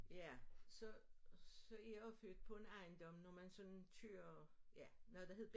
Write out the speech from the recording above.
Ja så så jeg jo født på en ejendom når man sådan kører ja noget der hed